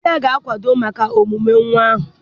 Di ya ga-akwado maka ọmụmụ nwa ahụ